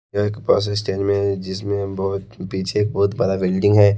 यह एक bus stand में जिसमें हम बहोत पीछे एक बहोत बड़ा बिल्डिंग है।